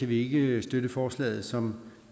vi ikke støtte forslaget som